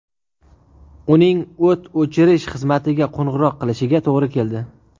Uning o‘t o‘chirish xizmatiga qo‘ng‘iroq qilishiga to‘g‘ri keldi.